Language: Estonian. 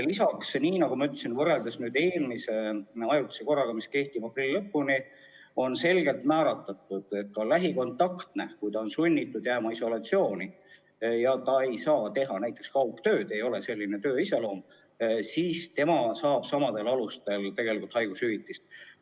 Lisaks, nagu ma ütlesin, võrreldes eelmise ajutise korraga, mis kehtib aprilli lõpuni, on selgelt määratletud, et lähikontaktne, kes on sunnitud jääma isolatsiooni ja kes ei saa teha kaugtööd, sest tema töö iseloom ei võimalda seda, saab tegelikult samadel alustel haigushüvitist.